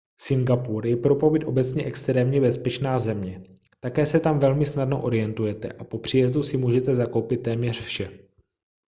singapur je pro pobyt obecně extrémně bezpečná země také se tam velmi snadno orientujete a po příjezdu si můžete zakoupit téměř vše